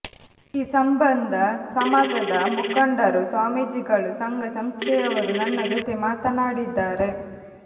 ಈ ಸಂಬಂಧ ಸಮಾಜದ ಮುಖಂಡರು ಸ್ವಾಮೀಜಿಗಳು ಸಂಘ ಸಂಸ್ಥೆಯವರು ನನ್ನ ಜೊತೆ ಮಾತನಾಡಿದ್ದಾರೆ